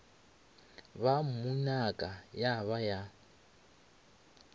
ba mmunaka ya ba ya